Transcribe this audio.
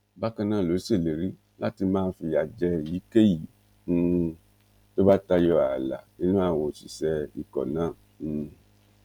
bákan náà ló ṣèlérí láti máa fìyà jẹ èyíkéyìí um tó bá tayọ ààlà nínú àwọn òṣìṣẹ ikọ náà um